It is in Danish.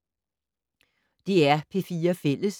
DR P4 Fælles